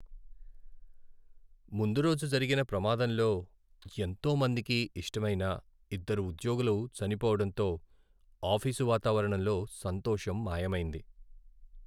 ముందు రోజు జరిగిన ప్రమాదంలో ఎంతో మందికి ఇష్టమైన ఇద్దరు ఉద్యోగులు చనిపోవడంతో ఆఫీసు వాతావరణంలో సంతోషం మాయమైంది.